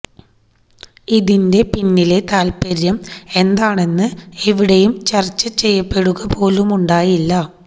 ഇതിന്റെ പിന്നിലെ താല്പര്യം എന്താണെന്ന് എവിടെയും ചര്ച്ച ചെയ്യപ്പെടുക പോലുമുണ്ടായില്ല